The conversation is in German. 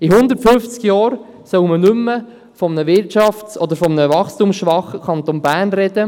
In 150 Jahren soll man nicht mehr von einem wirtschafts- oder wachstumsschwachen Kanton Bern sprechen.